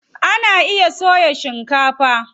Ana iya soya shikefa.